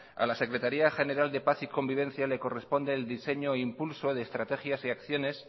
a la secretaría general de paz y convivencia le corresponde el diseño e impulso de estrategias y acciones